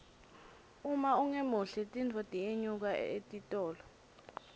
uma ungemuhle tinfo tiyenyuka etitolo